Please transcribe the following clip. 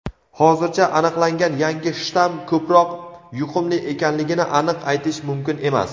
hozircha aniqlangan yangi shtamm ko‘proq yuqumli ekanligini aniq aytish mumkin emas.